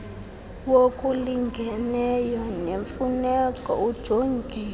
wokulingeneyo nemfuneko ujongiwe